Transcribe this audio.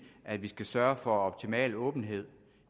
at vi skal sørge for optimal åbenhed